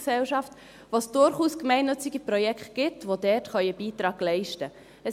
Es gibt dort durchaus gemeinnützige Projekte, an die ein Beitrag geleistet werden könnte.